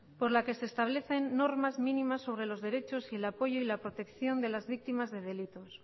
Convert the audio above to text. por la que se establecen normas mínimas sobre los derechos y el apoyo y la protección de las víctimas de delitos